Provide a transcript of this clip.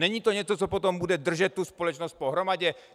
Není to něco, co potom bude držet tu společnost pohromadě?